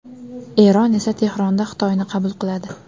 Eron esa Tehronda Xitoyni qabul qiladi.